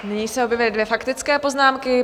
Nyní se objevily dvě faktické poznámky.